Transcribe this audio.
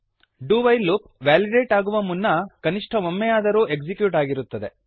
do while loop validate ಆಗುವ ಮುನ್ನ ಕನಿಷ್ಠ ಒಮ್ಮೆಯಾದರೂ ಎಕ್ಸಿಕ್ಯೂಟ್ ಆಗಿರುತ್ತದೆ